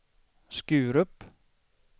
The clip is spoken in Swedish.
Skurup